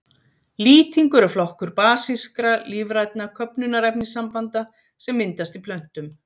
Lýtingur er flokkur basískra, lífrænna köfnunarefnissambanda sem myndast í plöntum.